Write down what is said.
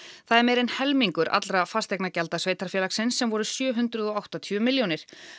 það er meira en helmingur allra fasteignagjalda sveitarfélagsins sem voru sjö hundruð og áttatíu milljónir